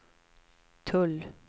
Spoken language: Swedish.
tull